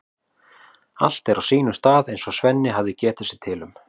Allt er á sínum stað eins og Svenni hafði getið sér til um.